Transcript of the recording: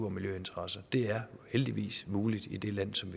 og miljøinteresser det er heldigvis muligt i det land som